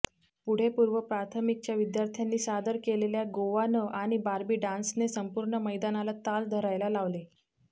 पुढे पूर्व प्राथमिकच्या विद्यार्थ्यांनी सादर केलेल्या गोवांन आणि बार्बी डान्सने संपूर्ण मैदानाला ताल धरायला लावले